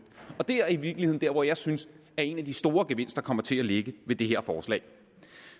det er i virkeligheden dér hvor jeg synes at en af de store gevinster kommer til at ligge med det her forslag